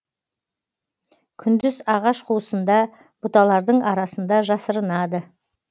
күндіз ағаш қуысында бұталардың арасында жасырынады